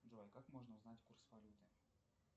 джой как можно узнать курс валюты